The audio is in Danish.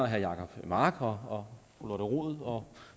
jacob mark og og fru lotte rod og